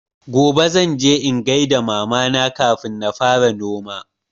Gobe zan je in gaida mama na kafin na fara noma